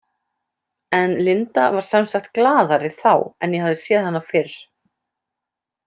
En Linda var sem sagt glaðari þá en ég hafði séð hana fyrr.